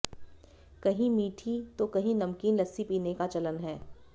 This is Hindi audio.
कहीं मीठी तो कहीं नमकीन लस्सी पीने का चलन हैं